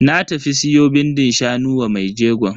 Na tafi siyo bindin shanu wa mai jegon.